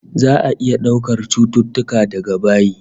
Za'a iya daukar cututtuka daga bayi